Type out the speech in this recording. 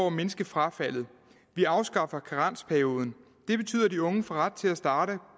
at mindske frafaldet vi afskaffer karensperioden det betyder at de unge får ret til at starte